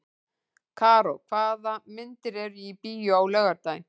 Karó, hvaða myndir eru í bíó á laugardaginn?